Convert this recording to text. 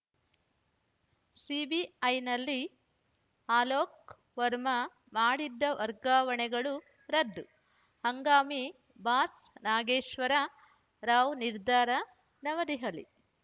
ಸಿಬಿಐನಲ್ಲಿ ಅಲೋಕ್‌ ವರ್ಮಾ ಮಾಡಿದ್ದ ವರ್ಗಾವಣೆಗಳು ರದ್ದು ಹಂಗಾಮಿ ಬಾಸ್‌ ನಾಗೇಶ್ವರ ರಾವ್‌ ನಿರ್ಧಾರ ನವದೆಹಲಿ